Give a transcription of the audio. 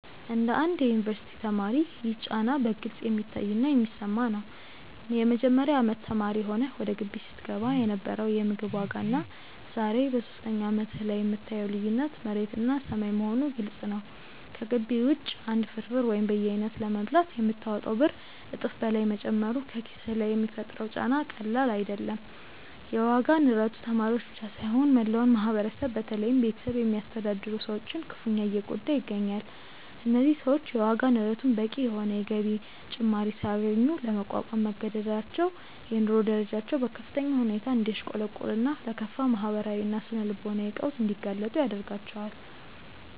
እንደ አንድ የዩኒቨርሲቲ ተማሪ ይህ ጫና በግልጽ የሚታይና የሚሰማ ነው። የመጀመሪያ አመት ተማሪ ሆነህ ወደ ግቢ ስትገባ የነበረው የምግብ ዋጋና ዛሬ በሶስተኛ አመትህ ላይ የምታየው ልዩነት መሬትና ሰማይ መሆኑ ግልጽ ነው። ከግቢ ውጪ አንድ ፍርፍር ወይም በየአይነቱ ለመብላት የምታወጣው ብር እጥፍ በላይ መጨመሩ በኪስህ ላይ የሚፈጥረው ጫና ቀላል አይደለም። የዋጋ ንረቱ ተማሪዎችን ብቻ ሳይሆን መላውን ማህበረሰብ በተለይም ቤተሰብ የሚያስተዳድሩ ሰዎችን ክፉኛ እየጎዳ ይገኛል። እነዚህ ሰዎች የዋጋ ንረቱን በቂ የሆነ የገቢ ጭማሪ ሳያገኙ ለመቋቋም መገደዳቸው የኑሮ ደረጃቸው በከፍተኛ ሁኔታ እንዲያሽቆለቁልና ለከፋ ማህበራዊና ስነ-ልቦናዊ ቀውስ እንዲጋለጡ ያደርጋቸዋል።